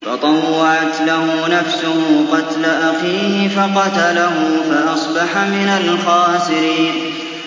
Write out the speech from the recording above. فَطَوَّعَتْ لَهُ نَفْسُهُ قَتْلَ أَخِيهِ فَقَتَلَهُ فَأَصْبَحَ مِنَ الْخَاسِرِينَ